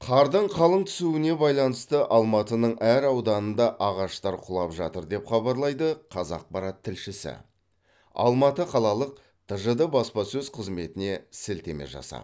қардың қалың түсуіне байланысты алматының әр ауданында ағаштар құлап жатыр деп хабарлайды қазақпарат тілшісіалматы қалалық тжд баспасөз қызметіне сілтеме жасап